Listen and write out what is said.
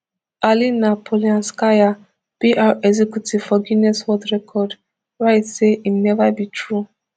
alina polianskaya pr executive for guinness world record write say im neva be true